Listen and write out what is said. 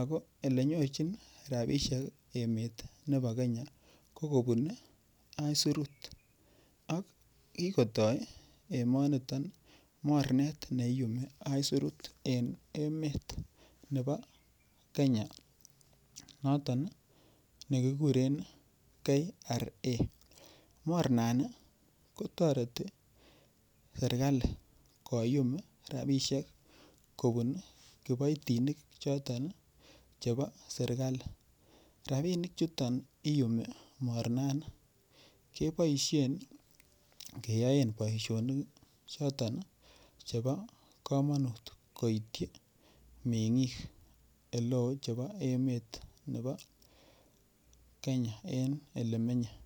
ako olenyorchin ropisiek emet nebo Kenya ko kobun aisurut ak kikotoi emoniton mornet neiyumi aisurut eng emet nebo Kenya noton nekikuren KRA mornani kotoreti serikali koyum rapishek kobun kiboitinik choto chebo serikali rapinik chuton iyumi mornani keboishen keyoen boishonik choton chebo komonut koitchi meng'ik oleo chebo emet nebo Kenya en ele menyei.